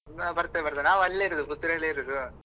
ನಾವ್ ಬರ್ತೇವೆ ಬರ್ತೇವೆ ಅಲ ನಾವ್ ಅಲ್ಲೇ ಇರುದು ಪುತ್ತೂರ್ ಅಲ್ಲೇ ಇರುದು.